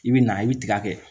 I bɛ na i bɛ tiga kɛ